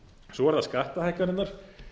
svo eru það skattahækkanirnar